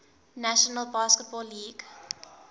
national basketball league